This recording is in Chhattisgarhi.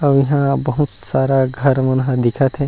और यहाँ बहुत सारा घर मन ह दिखत हे।